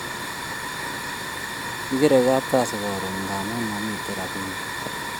Kikere kapkasi karon ngamun mamiten rapinik